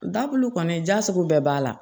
Dakulu kɔni da sugu bɛɛ b'a la